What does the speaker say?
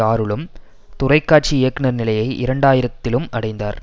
ஆறுலும் தொலைக்காட்சி இயக்குனர் நிலையை இரண்டு ஆயிரத்திலும் அடைந்தார்